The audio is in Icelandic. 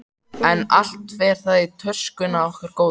En allt fer það í töskuna okkar góðu.